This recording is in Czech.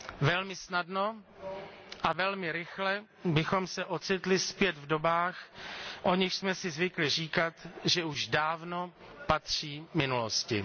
Velmi snadno a velmi rychle bychom se ocitli zpět v dobách, o nichž jsme si zvykli říkat, že už dávno patří minulosti.